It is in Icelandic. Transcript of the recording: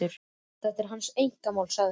Þetta er hans einkamál, sagði hann.